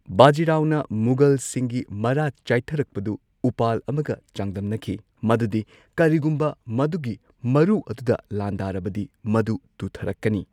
ꯕꯥꯖꯤ ꯔꯥꯎꯅ ꯃꯨꯒꯜꯁꯤꯡꯒꯤ ꯃꯔꯥ ꯆꯥꯢꯊꯔꯛꯄꯗꯨ ꯎꯄꯥꯜ ꯑꯃꯒ ꯆꯥꯡꯗꯝꯅꯈꯤ ꯃꯗꯨꯗꯤ ꯀꯔꯤꯒꯨꯝꯕ ꯃꯗꯨꯒꯤ ꯃꯔꯨ ꯑꯗꯨꯗ ꯂꯥꯟꯗꯥꯔꯕꯗꯤ, ꯃꯗꯨ ꯇꯨꯊꯔꯛꯀꯅꯤ꯫